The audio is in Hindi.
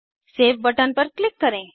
सेव बटन पर क्लिक करें